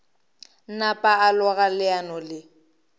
napa a loga leano le